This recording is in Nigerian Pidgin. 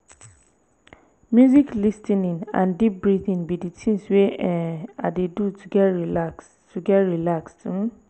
music lis ten ing and deep breathing be di things wey um i dey do to get relaxed. to get relaxed. um